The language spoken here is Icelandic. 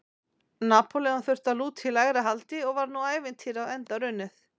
Napóleon þurfti að lúta í lægra haldi og var nú ævintýrið á enda runnið.